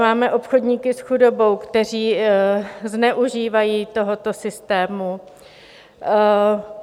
Máme obchodníky s chudobou, kteří zneužívají tohoto systému.